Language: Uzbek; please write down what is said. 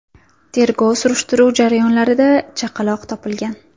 Tergov-surishtiruv jarayonlarida chaqaloq topilgan.